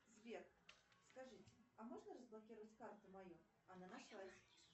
сбер скажите а можно разблокировать карту мою она нашлась